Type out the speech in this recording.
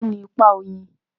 Kíni ipa oyin?